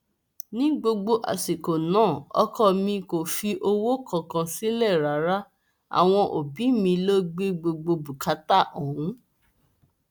ní gbogbo àsìkò náà ọkọ mi kò fi owó kankan sílẹ rárá àwọn òbí mi lọ gbé gbogbo bùkátà ọhún